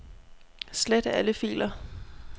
Slet alle filer.